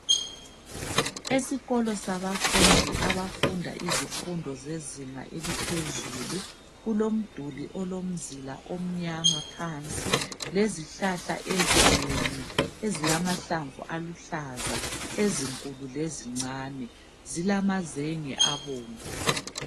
Esikolo sabamfundi abafunda izifundo zezinga eliphezulu kulomduli olomzila omyama phansi, lezihlahla ezinengi ezilamahlamvu aluhlaza ,ezinkulu lezincane zilamazenge abomvu.